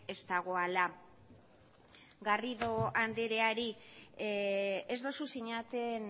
ez dagoela garrido andereari